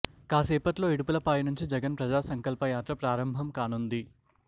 కాసేపట్లో ఇడుపులపాయ నుంచి జగన్ ప్రజా సంకల్ప యాత్ర ప్రారంభం కానుంది